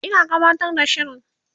Ina gabatar da shirin